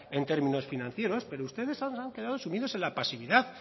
en términos financieros pero ustedes han quedado sumidos en la pasividad